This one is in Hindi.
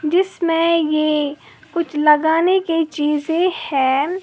जिसमें ये कुछ लगाने की चीजे है।